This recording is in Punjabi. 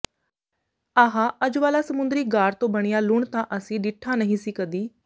ਆਹ ਅੱਜ ਵਾਲਾ ਸਮੁੰਦਰੀ ਗਾਰ ਤੋਂ ਬਣਿਆ ਲੂਣ ਤਾਂ ਅਸੀ ਡਿੱਠਾ ਨਹੀਂ ਸੀ ਕਦੀ